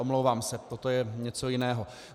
Omlouvám se, toto je něco jiného.